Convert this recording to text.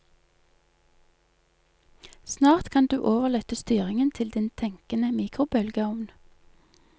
Snart kan du overlate styringen til din tenkende mikrobølgeovn.